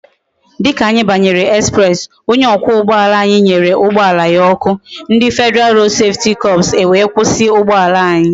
Dika anyi banyere express, onye okwa ugboala anyi nyere ugboala ya oku, ndi federal road safety corps e wee kwusi ugboala anyi